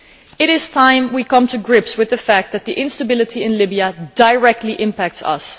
It is time we got to grips with the fact that the instability in Libya directly impacts us.